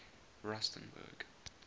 rusternburg